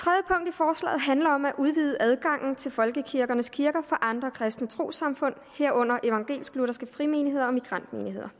forslaget handler om at udvide adgangen til folkekirkens kirker for andre kristne trossamfund herunder evangelisk lutherske frimenigheder og migrantmenigheder